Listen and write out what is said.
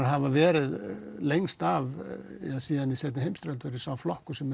hafa verið lengst af síðan í seinni heimsstyrjöld verið sá flokkur sem